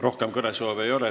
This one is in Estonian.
Rohkem kõnesoove ei ole.